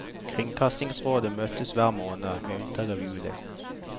Kringkastingsrådet møtes hver måned, med unntak av juli.